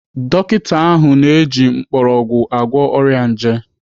Dọkita ahụ na-eji mgbọrọgwụ agwọ ọrịa nje.